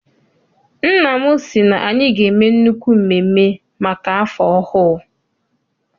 Nna m sị na anyị ga- eme nnukwu mmemme maka afọ ọhụụ.